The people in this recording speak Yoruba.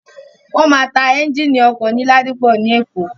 Wọ́n máa ta ẹ́ńgìnì ọkọ̀ ní Ladipọ ní Èkó.